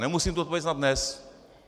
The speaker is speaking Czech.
Nemusím tu odpověď znát dnes.